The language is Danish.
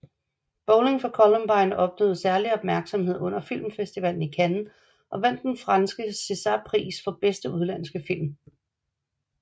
Bowling for Columbine opnåede særlig opmærksomhed under filmfestivalen i Cannes og vandt den franske Césarpris for bedste udenlandske film